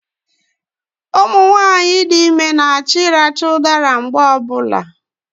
Ụmụnwaanyị dị ime na-achọ ịracha ụdara mgbe ọbụla